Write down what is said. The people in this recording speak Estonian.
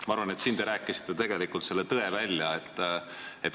Ma arvan, et siin te ütlesite tegelikult tõe välja.